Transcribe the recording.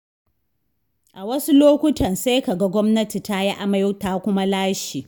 A wasu lokutan sai ka ga gwamnati ta yi amai ta kuma lashe.